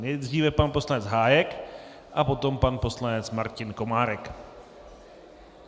Nejdříve pan poslanec Hájek a potom pan poslanec Martin Komárek.